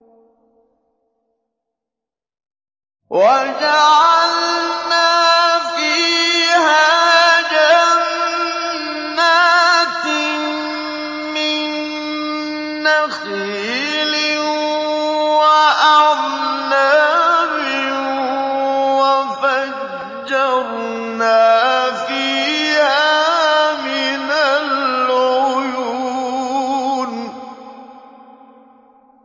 وَجَعَلْنَا فِيهَا جَنَّاتٍ مِّن نَّخِيلٍ وَأَعْنَابٍ وَفَجَّرْنَا فِيهَا مِنَ الْعُيُونِ